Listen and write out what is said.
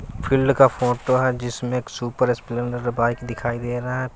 Field का photo है जिसमें एक सुपर स्प्लेंडर बाइक दिखाई दे रहा है।